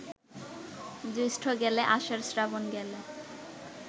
জ্যৈষ্ঠ গেলে, আষাঢ়, শ্রাবণ গেলে